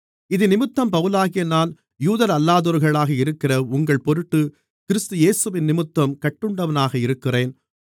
இதினிமித்தம் பவுலாகிய நான் யூதரல்லாதோர்களாக இருக்கிற உங்கள் பொருட்டுக் கிறிஸ்து இயேசுவினிமித்தம் கட்டுண்டவனாக இருக்கிறேன்